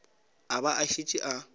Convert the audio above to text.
a ba a šetše a